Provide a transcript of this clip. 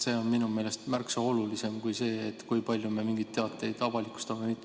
See on minu meelest märksa olulisem kui see, kui palju me mingeid teateid avalikustame või mitte.